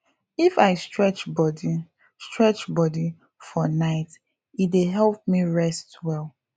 if i stretch body stretch body for night e dey help me rest well